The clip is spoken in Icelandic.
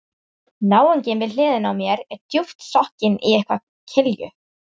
Náunginn við hliðina á mér er djúpt sokkinn í eitthvað kilju